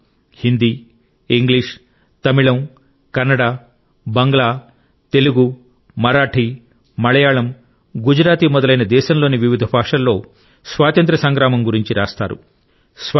వారు హిందీ ఇంగ్లీష్ తమిళం కన్నడ బంగ్లా తెలుగు మరాఠీ మలయాళం గుజరాతీ మొదలైన దేశంలోని వివిధ భాషలలో స్వాతంత్య్ర సంగ్రామం గురించి రాస్తారు